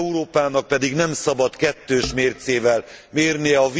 Európának pedig nem szabad kettős mércével mérnie.